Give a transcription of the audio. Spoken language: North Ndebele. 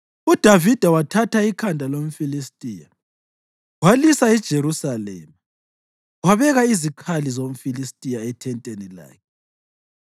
UDavida wathatha ikhanda lomFilistiya, walisa eJerusalema, wabeka izikhali zomFilistiya ethenteni lakhe.